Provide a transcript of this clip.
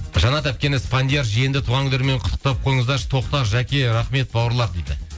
жаннат әпкені спандияр жиенді туған күндерімен құттықтап қойыңыздаршы тоқтар жәке рахмет бауырлар дейді